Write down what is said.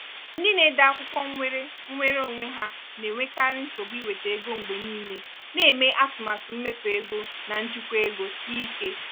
ndị na-ede akwụkwọ nwere nwere onwe ha na-enwekarị nsogbu iwete ego mgbe niile na-eme atụmatụ mmefu ego na njikwa ego sie ike.